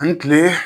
Ani kile